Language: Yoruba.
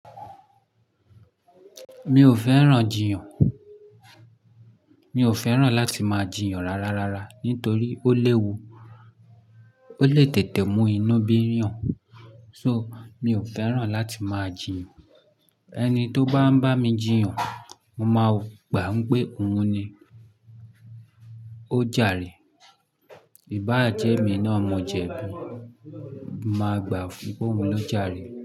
Mi ò fẹ́ràn jiyàn. Mi ò fẹ́ràn láti máa jiyàn rárá rárá nitorí ó léwu ó lè tètè mú inú bíyàn. So mi ò fẹ́ràn láti máa jiyàn. Ẹni tó bá ń bá mi jiyàn, mo màá gbà n pé òun ni ó jàre. Ìbáájẹ́ emi náà mo jẹ bi, mo màá gbà pé òun ló jàre.